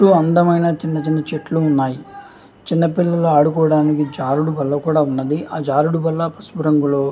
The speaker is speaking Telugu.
చుట్టూ అందమైన చెట్లు ఉన్నాయి. చిన్న పిల్లలు ఆడుకొని జారుడు బండలు కూడా ఉన్నాయి. అవి పసుపు రంగులో--